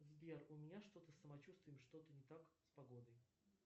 сбер у меня что то с самочувствием что то не так с погодой